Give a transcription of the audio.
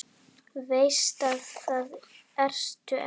Veist að það ertu ekki.